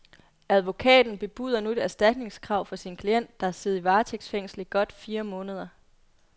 Advokaten, bebuder nu et erstatningskrav for sin klient, der har siddet i varetægtsfængsel i godt fire måneder.